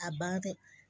A ban fɛ